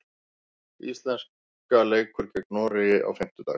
Íslenska leikur gegn Noregi á fimmtudag.